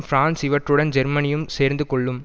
France இவற்றுடன் ஜெர்மேனியும் சேர்ந்து கொள்ளும்